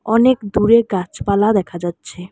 অনেক দূরে গাছপালা দেখা যাচ্ছে।